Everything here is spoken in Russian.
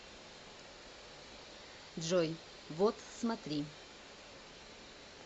джой вот смотри